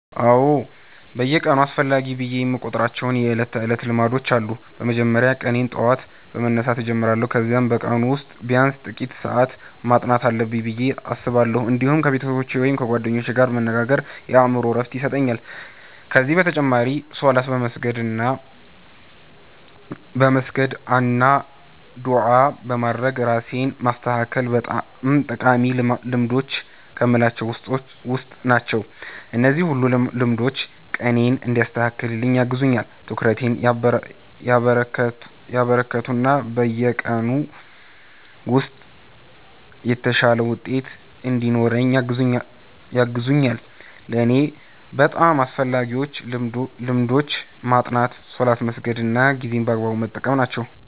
አዎ፣ በየቀኑ አስፈላጊ ብዬ የምቆጥራቸው የዕለት ተዕለት ልማዶች አሉ። በመጀመሪያ ቀኔን በጠዋት በመነሳት እጀምራለሁ፣ ከዚያም በቀኑ ውስጥ ቢያንስ ጥቂት ሰዓት ማጥናት አለብኝ ብዬ አስባለሁ። እንዲሁም ከቤተሰቦቼ ወይም ከጓደኞቼ ጋር መነጋገር የአእምሮ ዕረፍት ይሰጠኛል። ከዚህ በተጨማሪ ሶላት በመስገድ አና ዱዓ በማድረግ ራሴን ማስተካከል በጣም ጠቃሚ ልማዶች ከምላቸዉ ዉስጥ ናቸው። እነዚህ ሁሉ ልማዶች ቀኔን እንዲያስተካክል ያግዙኛል፣ ትኩረቴን ያበረከቱ እና በቀኑ ውስጥ የተሻለ ውጤት እንድኖረኝ ያግዙኛል። ለእኔ በጣም አስፈላጊዎቹ ልማዶች ማጥናት፣ ሶላት መስገድ እና ጊዜን በአግባቡ መጠቀም ናቸው።